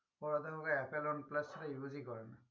ওরা তো এভাবে use ই করে না